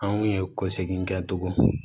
Anw ye kɔsegin kɛ togo